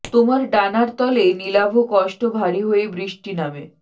তোমার ডানার তলে নিলাভ কষ্ট ভারী হয়ে বৃষ্টি নামে